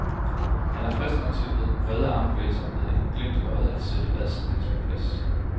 Han er frisk nok til med brede armbevægelser og med et glimt i øjet at sætte hvad som helst på plads.